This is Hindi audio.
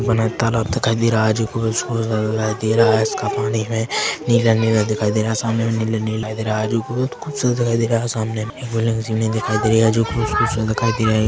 बड़ा तलाव दिखाई दे रहा है जो पूरा इसका पानी में नीला-नीला दिखाई दे रहा है सामने में नीले दिखाई रहा है जो बहुत खूब सूरत दिखाई दे रहा है और सामने में एक बिल्डिंग सी दिखाई दे रही है जो खूबसूरत दिखाई दे रही है।